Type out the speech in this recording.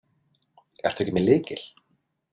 Ertu ekki með lykil?